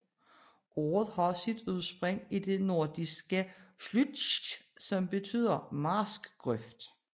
Ordet har sit udspring i det nordfrisiske slüütj som betyder marskgrøft